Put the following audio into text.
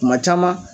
Kuma caman